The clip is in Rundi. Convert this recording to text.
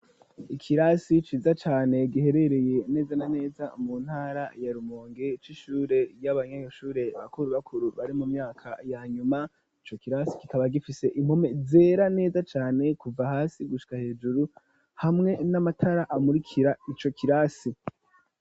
Ikirasi ciza cane giherereye neza na neza mu ntara ya Rumonge c'ishure y'abanyeshure bakuru bakuru bari mu myaka ya nyuma, ico kirasi kikaba gifise impome zera neza cane kuva hasi gusha hejuru hamwe n'amatara amurikira ico kirasi.